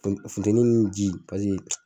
Funteni ni ji .